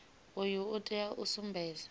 uyu u tea u sumbedza